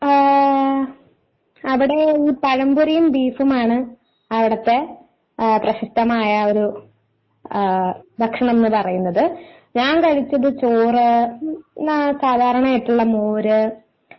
മ്മ് അവിടെ ഈ പഴംപൊരിയും ബീഫും ആണ് അവിടുത്തെ പ്രശസ്തമായ ഒരു ഭക്ഷണം എന്ന് പറയുന്നത് ഞാൻ കഴിച്ചത് ചോറ് സാധാരണ ആയിട്ടുള്ള മോര്.